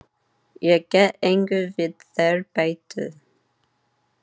Ég get engu við þær bætt.